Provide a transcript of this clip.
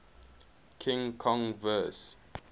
king kong vs